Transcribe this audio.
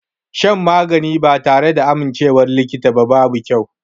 Shan magani ba tare da amincewar likita ba babu kyau.